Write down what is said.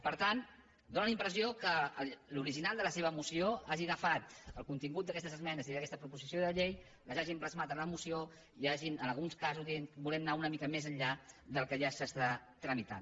per tant fa la impressió que l’original de la seva moció hagi agafat el contingut d’aquestes esmenes i d’aquesta proposició de llei les hagin plasmat en la moció i hagin en alguns casos dit volem anar una mica més enllà del que ja es tramita